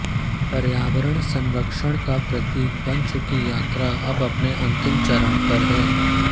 पर्यावरण संरक्षण का प्रतीक बन चुकी यात्रा अब अपने अंतिम चरण है